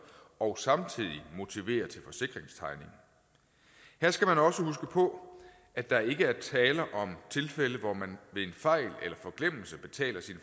og samtidig motivere til forsikringstegning her skal man også huske på at der ikke er tale om tilfælde hvor man ved en fejl eller forglemmelse betaler sin